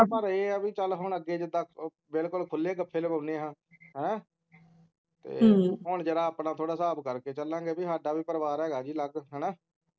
ਪਰ ਏ ਹੈ ਪਹਿਲਾਂ ਅੱਗੇ ਚਲ ਹੁਣ ਅੱਗੇ ਜਿੱਦਾਂ ਬਿਲਕੁਲ ਖੁੱਲੇ ਗਫੇ ਲਕੋਣੇ ਹਾਂ ਹੈਂ ਹੁਣ ਜਿਹੜਾ ਆਪਣਾ ਥੋੜਾ ਹਿਸਾਬ ਕਰ ਕੇ ਚਲਾਂਗੇ ਕਿ ਸਾਡਾ ਵੀ ਆਪਣਾ ਪਰਿਵਾਰ ਹੈਗਾ ਅਲਗ ਹੈਨਾ